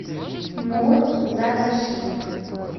мурзагашиев